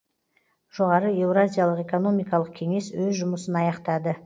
жоғары еуразиялық экономикалық кеңес өз жұмысын аяқтады